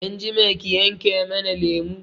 Anjima ki yanka mana lemo